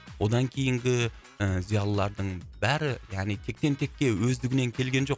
одан кейінгі ы зиялылардың бәрі яғни тектен текке өздігінен келген жоқ